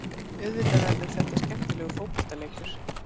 Auðvitað verður þetta skemmtilegur fótboltaleikur.